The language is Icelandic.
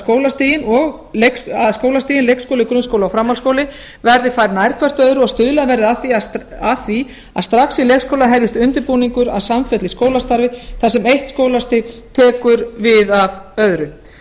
skólastigin leikskóli grunnskóli og framhaldsskóli verði færð nær hvert öðru og stuðlað verði að því að strax í leikskóla hefjist undirbúningur að samfelldu skólastarfi þar sem eitt skólastig tekur við af öðru